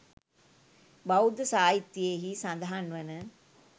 බෞද්ධ සාහිත්‍යයෙහි සඳහන් වන